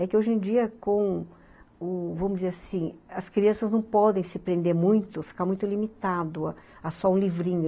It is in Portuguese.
É que hoje em dia com, u, vamos dizer assim, as crianças não podem se prender muito, ficar muito limitado a só um livrinho.